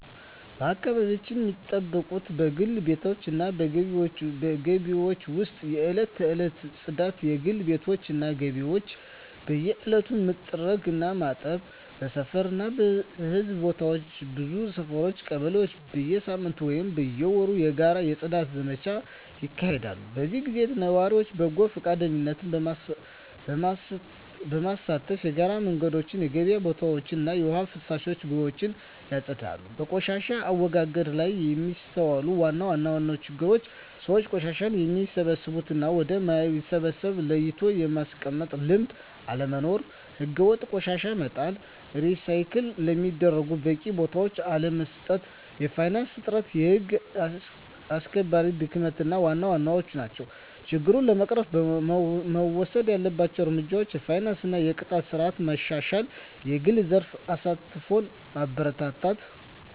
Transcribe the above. አካባቢያቸውን ሚጠብቁት በግል ቤቶች እና በግቢዎች ውስጥ የዕለት ተዕለት ጽዳት: የግል ቤቶች እና ግቢዎች በየዕለቱ መጥረግ እና ማጠብ። በሰፈር እና በሕዝብ ቦታዎች ብዙ ሰፈሮች (ቀበሌዎች) በየሳምንቱ ወይም በየወሩ የጋራ የጽዳት ዘመቻዎች ያካሂዳሉ። በዚህ ጊዜ ነዋሪዎች በጎ ፈቃደኝነት በመሳተፍ የጋራ መንገዶችን፣ የገበያ ቦታዎችን እና የውሃ ፍሳሽ ቦዮችን ያጸዳሉ። በቆሻሻ አወጋገድ ላይ የሚስተዋሉ ዋና ዋና ችግሮች አብዛኛው ሰው ቆሻሻን ወደሚበሰብስ እና ወደ ማይበሰብስ ለይቶ የማስቀመጥ ልምድ አለመኖር። ሕገወጥ ቆሻሻ መጣል፣ ሪሳይክል ለሚደረጉት በቂ ቦታ አለመስጠት፣ የፋይናንስ እጥረት፣ የህግ አስከባሪነት ድክመት ዋና ዋናዎቹ ናቸው። ችግሮችን ለመቅረፍ መወሰድ ያለባቸው እርምጃዎች የፋይናንስ እና የቅጣት ስርዓት ማሻሻል፣ የግል ዘርፍ ተሳትፎን ማበረታታት፣ …